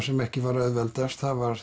sem ekki var auðveldast það var